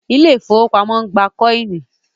Ilé ifówópamọ́ ń gbà kọ́ìnì